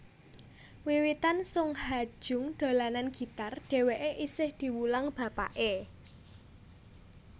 Wiwitan Sung Ha Jung dolanan gitar dhèwèké isih diwulang bapaké